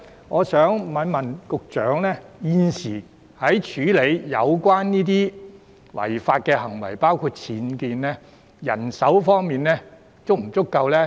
我想在此問一問局長，現時在處理有關違法行為的工作上，人手方面是否足夠？